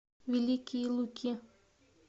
великие луки